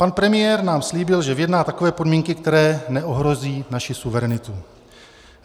Pan premiér nám slíbil, že vyjedná takové podmínky, které neohrozí naši suverenitu.